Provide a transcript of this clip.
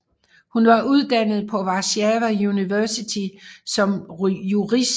Hun var uddannet på Warszawa Universitet som jurist